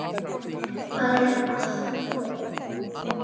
Það er alltaf von!